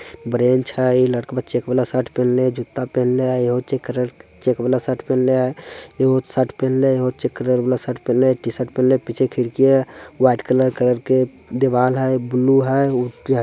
bench है इ लड़कबा चैक वाला शर्ट पहनले हे जूता पेहनले है यहो चैक कलर चैक वाला शर्ट पेहनले है योह शर्ट पेहनले है एगो चैक कलर वाला शर्ट पेहनले है टी-शर्ट पेहनले है पीछे खिड़की है वाइट कलर कर के दीवाल है एक बुल्लू है उ जे --